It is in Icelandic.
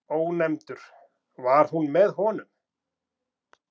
Ónefndur: Var hún með honum?